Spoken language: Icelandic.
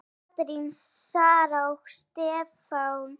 Katrín, Sara og Stefán.